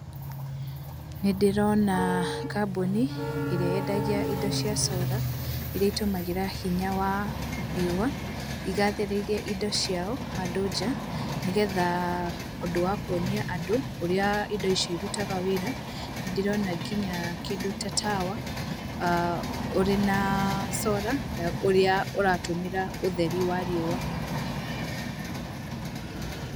Nĩ ndĩrona kambuni ĩrĩa yendagia indo cia cora iria itũmagĩra hinya wa riũa, igathĩrĩirie indo ciao handũ nja nĩgetha ũndũ wa kuonia andũ ũrĩa indo ici irutaga wĩra. Nĩ ndĩrona nginya kĩndũ ta tawa ũrĩ na cora ũrĩa ũratũmĩra ũtheri wa riũa.